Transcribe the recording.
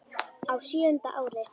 Á sjöunda ári